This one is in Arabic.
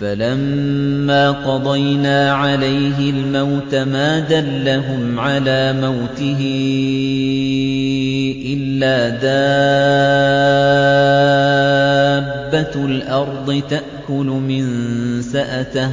فَلَمَّا قَضَيْنَا عَلَيْهِ الْمَوْتَ مَا دَلَّهُمْ عَلَىٰ مَوْتِهِ إِلَّا دَابَّةُ الْأَرْضِ تَأْكُلُ مِنسَأَتَهُ ۖ